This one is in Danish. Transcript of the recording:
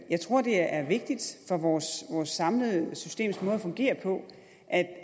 jeg tror det er vigtigt for vores samlede systems måde at fungere på at